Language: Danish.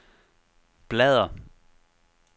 bladr